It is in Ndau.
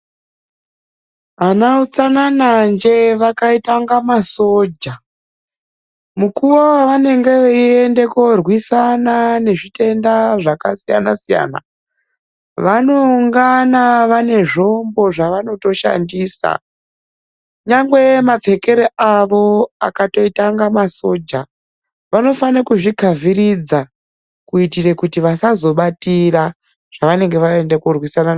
Ana utsanananje vakaita kunge masoja, Mukuwo wavange veyienda korwisana nezvitenda zvakasiyanasiyana, vanongana vane zvombo zvavanotoshandisa, nyangwe mapfekero avo akatoita kunge masoja. Vanofane kuzvidzivirira kuitira kuti vasazobatira zvavanenge vaenda korwisana nazvo.